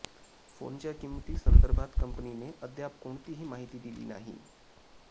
फोनच्या किंमती संदर्भात कंपनीने अद्याप कोणतीही माहिती दिली नाही